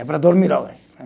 É para dormir agora.